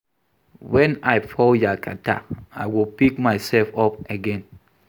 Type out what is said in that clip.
Wen I fall yakata, I go pick myself up again.